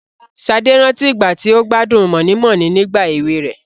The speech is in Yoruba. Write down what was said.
Sade rántí ìgbà tí ó gbádùn moninmonin nígbà èwe rẹ̀.